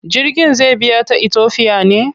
Jirgin zai biya ta Itofiya ne?